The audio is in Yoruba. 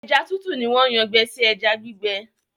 ẹja tútù ní wón Yàn gbé sí ẹja gbígbẹ.